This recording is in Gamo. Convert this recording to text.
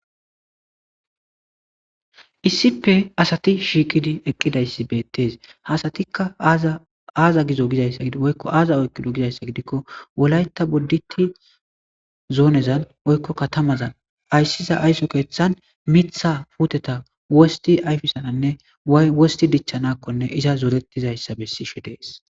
issippe asati shiiqidi eqqidayssi beettes hasatikka aaza gizo gizaysaoykko aaza oykkido gizayssa gidikko wolayta bodditi zoonezan woykko katamazan ayssiza aysso keeththan mitha puteta wosti ayfisananne way wosti dichchanakkonne iza zorettizayssa bessishe dees